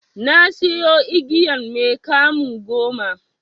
Nasiyo igiyan mai 'kamu' goma.